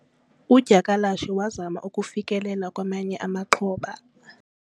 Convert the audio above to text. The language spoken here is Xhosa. udyakalashe wazama ukufikelela kwamanye amaxhoba